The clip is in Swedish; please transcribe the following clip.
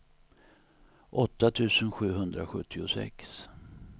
åtta tusen sjuhundrasjuttiosex